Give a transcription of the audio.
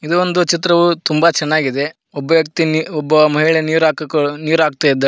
ಇದು ಒಂದು ಚಿತ್ರವು ತುಂಬಾ ಚೆನ್ನಾಗಿದೆ ಒಬ್ಬ ವ್ಯಕ್ತಿ ಇಲ್ಲಿ ಒಬ್ಬ ಮಹಿಳೆ ನೀರ್ ಹಾಕಕ್ ನೀರ್ ಹಾಕ್ತಾಯಿದಾಳೆ.